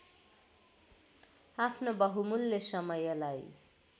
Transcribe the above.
आफ्नो बहुमूल्य समयलाई